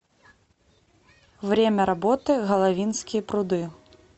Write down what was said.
время работы головинские пруды